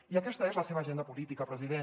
i aquesta és la seva agenda política president